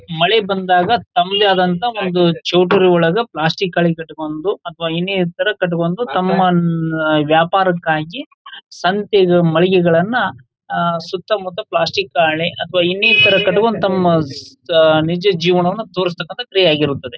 ಮಳೆ ಬಂದಾಗ ತಮ್ಮದೇ ಆದಂತಹ ಒಂದು ಚೌಲ್ಟ್ರಿ ಒಳಗೆ ಪ್ಲಾಸ್ಟಿಕ್ ಗಳು ಕಟ್ಟಿಕೊಂಡು ಅಥವಾ ಇನ್ನಿತರ ಕಟ್ಟಿಕೊಂಡು ತಮ್ಮ ವ್ಯಾಪಾರಕ್ಕಾಗಿ ಸಂತೆಗೆ ಮಳಿಗೆಗಳನ್ನ ಆ ಸುತ್ತ ಮುತ್ತ ಪ್ಲಾಸ್ಟಿಕ್ ಹಾಳೆ ಅಥವಾ ಇನ್ನಿತರ ಕಟ್ಟಿಕೊಂಡು ತಮ್ಮ ನಿಜ ಜೀವನವನ್ನ ತೋರಿಸತಕ್ಕಂತ ಕ್ರಿಯೆ ಆಗಿರುತ್ತದೆ.